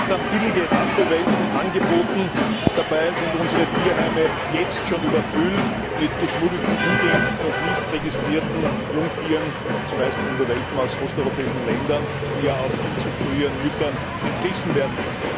Da werden dann billige Rassewelpen angeboten, dabei sind unsere Tierheime jetzt schon überfüllt mit geschmuggelten, ungeimpften und nicht registrierten Jungtieren zumeist Hundewelpen aus osteuropäischen Ländern, die ja auch viel zu früh ihren Müttern entrissen werden.